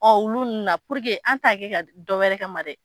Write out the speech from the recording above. Ɔ olu nana an T'a kɛ ka dɔ wɛrɛ kAma dɛ!